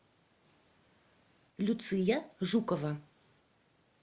люция жукова